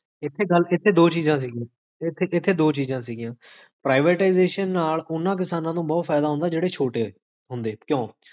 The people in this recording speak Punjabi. ਲਕ